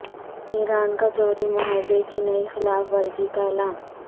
ایران کا جوہری معاہدے کی نئی خلاف ورزی کا اعلان